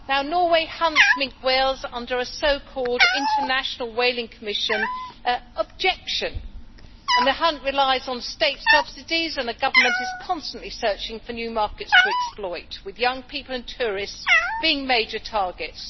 Norway hunts minke whales under a so called International Whaling Commission objection, the hunt relies on state subsidies and the government is constantly searching for new markets to exploit with young people and tourists being major targets.